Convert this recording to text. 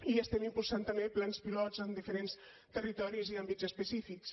i estem impulsant també plans pilot en diferents territoris i àmbits específics